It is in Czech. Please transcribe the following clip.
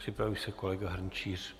Připraví se kolega Hrnčíř.